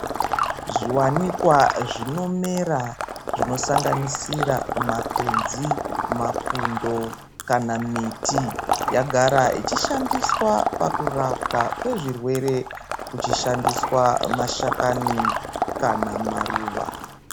Zviwanikwa zvinomera, zvinosanganisira makwenzi, mapundo, kana miti yagara ichishandiswa pakurapwa kwezvirwere kuchishandiswa mashakani kana maruva.